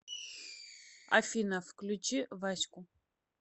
афина включи вась ку